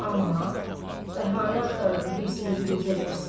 Amma bəhanə axtarırdı hirsini biruzə versin.